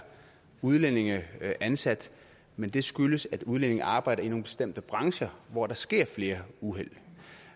udlændinge ansat men det skyldes at udlændinge arbejder i nogle bestemte brancher hvor der sker flere uheld